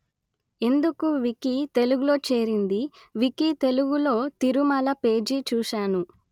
ఎందుకు వికీ తెలుగు లో చేరింది వికీ తెలుగులో తిరుమల పేజి చూసాను